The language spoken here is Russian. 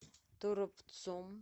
торопцом